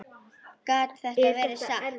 Gat þetta verið satt?